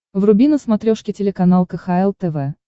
вруби на смотрешке телеканал кхл тв